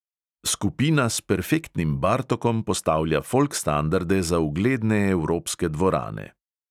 Skupina s perfektnim bartokom postavlja folk standarde za ugledne evropske dvorane.